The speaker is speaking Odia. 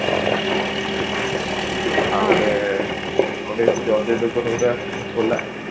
ଆଉ ଗୋଟେ ଯୋଉଟା ଆସୁଛି